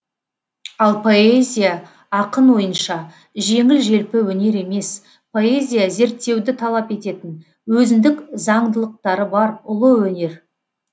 ал поэзия ақын ойынша жеңіл желпі өнер емес поэзия зерттеуді талап ететін өзіндік заңдылықтары бар ұлы өнер